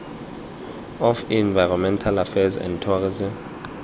of environmental affairs and tourism